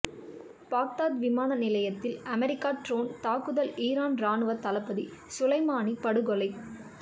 Baghdad விமான நிலையத்தில் America drone தாக்குதல் ஈரான் ராணுவ தளபதி சுலைமானி படுகொலை